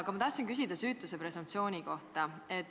Aga ma tahtsin küsida süütuse presumptsiooni kohta.